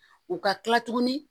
U ka kila tuguni